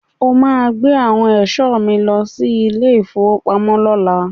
O máa gbé àwọn ẹ̀ṣọ́ mi lọ sí ilé-ìfowópamọ́ lọ́la.